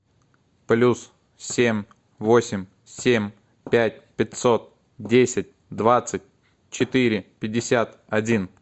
плюс семь восемь семь пять пятьсот десять двадцать четыре пятьдесят один